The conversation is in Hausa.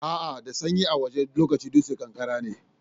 A'a da sanyi a wajen lokacin dusar ƙanƙara ne.